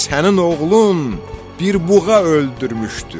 Sənin oğlun bir buğa öldürmüşdür.